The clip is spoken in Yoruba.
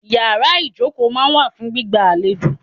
Ìyàrá ìjókòó máa ń wà fún gbígba àlejò.